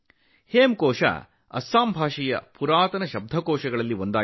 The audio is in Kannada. ಹೇಮಕೋಶ್ ಅಸ್ಸಾಮಿ ಭಾಷೆಯ ಅತ್ಯಂತ ಹಳೆಯ ನಿಘಂಟುಗಳಲ್ಲಿ ಒಂದಾಗಿದೆ